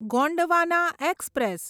Gondwana express